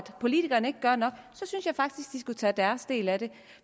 politikerne ikke gør nok synes jeg faktisk de skulle tage deres del af det